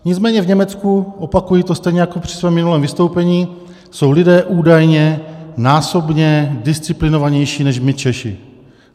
Nicméně v Německu, opakuji to stejně jako při svém minulém vystoupení, jsou lidé údajně násobně disciplinovanější než my Češi.